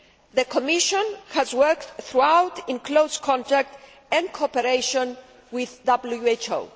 The Commission has worked throughout in close contact and cooperation with the WHO.